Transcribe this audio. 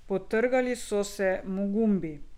Potrgali so se mu gumbi.